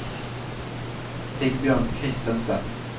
Sigbjørn Christensen